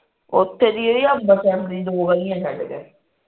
ਓਥੇ ਦੀ ਐ ਅੰਬਰਸਰ ਦੀ ਦੋ ਗਲੀਆਂ ਛੱਡ ਕੇ